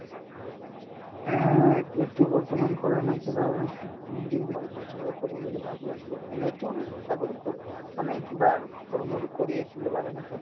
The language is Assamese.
এহ, এতিয়াতো বৰ্তমান কৰা নাই কিবা এহে উম degree complete হ'লে কৰিম বুলি ভাবি আছো এনেতো চাকৰি কৰো মানে কিবা সৰুমৰু কৰি আছিলো বাগানতে